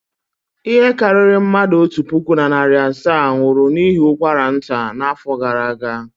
Ihe karịrị mmadụ otu puku na narị asaa nwụrụ n'ihi ụkwara nta n'afọ gara aga.